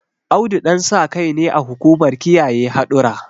Audu Ɗansakai ne a hukumar kiyaye hadura